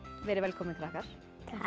verið velkomin krakkar